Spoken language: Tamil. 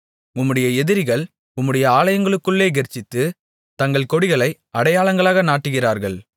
உம்முடைய எதிரிகள் உம்முடைய ஆலயங்களுக்குள்ளே கெர்ச்சித்து தங்கள் கொடிகளை அடையாளங்களாக நாட்டுகிறார்கள்